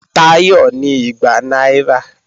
Táyọ̀ ní igba náírà